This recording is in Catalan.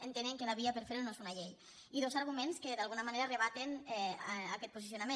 entenen que la via per fer ho no és una llei i dos arguments que d’alguna manera rebaten aquest posicionament